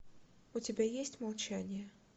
у тебя есть молчание